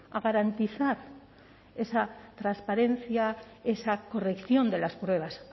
a garantizar esa transparencia esa corrección de las pruebas